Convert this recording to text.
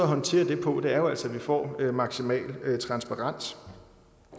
håndtere det på er jo altså vi får maksimal transparens